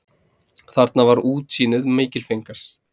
Þar var útsýnið mikilfenglegast.